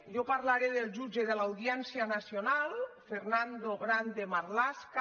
jo parlaré del jutge de l’audiència nacional fernando grandemarlaska